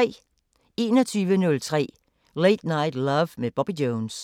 21:03: Late Night Love med Bobby Jones